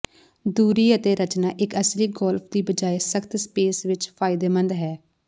ਦੂਰੀ ਅਤੇ ਰਚਨਾ ਇੱਕ ਅਸਲੀ ਗੋਲਫ ਦੀ ਬਜਾਏ ਸਖ਼ਤ ਸਪੇਸ ਵਿੱਚ ਫਾਇਦੇਮੰਦ ਹੈ